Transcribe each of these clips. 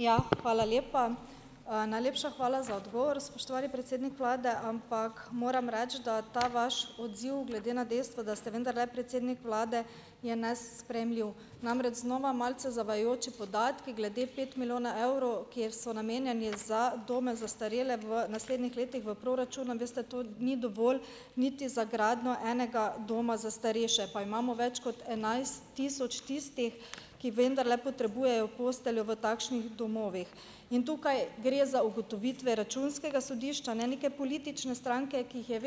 Ja, hvala lepa. najlepša hvala za odgovor, spoštovani predsednik vlade, ampak moram reči, da ta vaš odziv, glede na dejstvo, da ste vendarle predsednik vlade, je danes sprejemljiv. Namreč, znova malce zavajajoči podatki glede pet milijonov evrov, kjer so namenjeni za dome za ostarele v naslednjih letih v proračuna. Veste, to ni dovolj niti za gradnjo enega doma za starejše, pa imamo več kot enajst tisoč tistih, ki vendarle potrebujejo posteljo v takšnih domovih. In tukaj gre za ugotovitve Računskega sodišča, ne neke politične stranke, ki jih je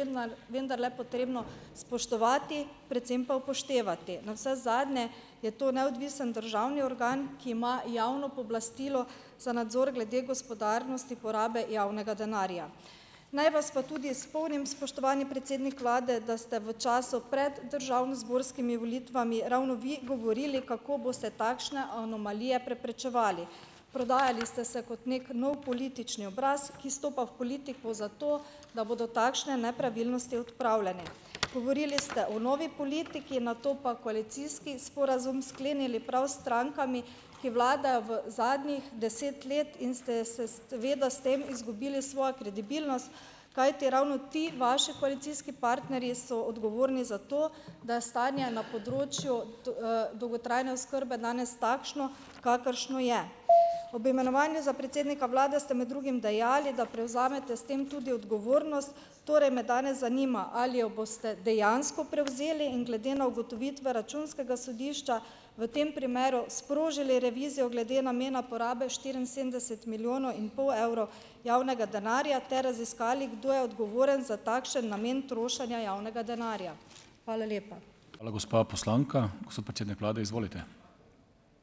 vendarle potrebno spoštovati, predvsem pa upoštevati. Navsezadnje je to neodvisni državni organ, ki ima javno pooblastilo za nadzor glede gospodarnosti porabe javnega denarja. Naj vas pa tudi spomnim, spoštovani predsednik vlade, da ste v času prej državnozborskimi volitvami ravno vi govorili, kako boste takšne anomalije preprečevali. Prodajali ste se kot neki nov politični obraz, ki stopa v politiko zato, da bodo takšne nepravilnosti odpravljene. Govorili ste o novi politiki, nato pa koalicijski sporazum sklenili prav s strankami, ki vladajo v zadnjih deset let in ste seveda s tem izgubili svojo kredibilnost, kajti ravno ti vaši koalicijski partnerji so odgovorni za to, da je stanje na področju dolgotrajne oskrbe danes takšno, kakršno je. Ob imenovanju za predsednika vlade ste med drugim dejali, da prevzamete s tem tudi odgovornost, torej me danes zanima, ali jo boste dejansko prevzeli in glede na ugotovitve Računskega sodišča v tem primeru sprožili revizijo glede namena porabe štiriinsedemdeset milijonov in pol evrov javnega denarja ter raziskali, kdo je odgovoren za takšen namen trošenja javnega denarja. Hvala lepa.